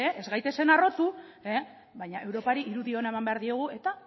ez gaitezen harrotu baina europari irudi ona eman behar diogu eta